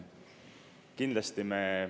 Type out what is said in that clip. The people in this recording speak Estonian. Kindlasti me …